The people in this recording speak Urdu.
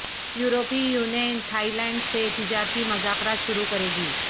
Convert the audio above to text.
یورپی یونین تھائی لینڈ سے تجارتی مذاکرات شروع کرے گی